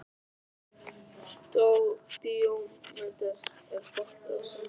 Díómedes, er bolti á sunnudaginn?